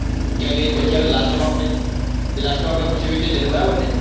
ત્યાં જઈને પછી આપણે last માં last માં પછી આપણે વિદેશ જઈશું બરાબર ને?